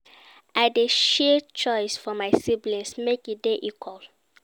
I dey share chores for my siblings make e dey equal.